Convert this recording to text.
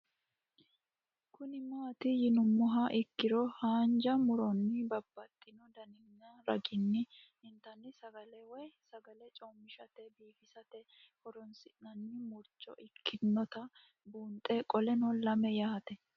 Kuni mati yinumoha ikiro hanja muroni babaxino daninina ragini intani sagale woyi sagali comishatenna bifisate horonsine'morich ikinota bunxana qoleno lame yaate?